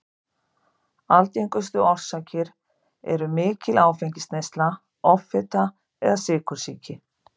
Algengustu orsakir eru mikil áfengisneysla, offita eða sykursýki.